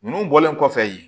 Ninnu bɔlen kɔfɛ yen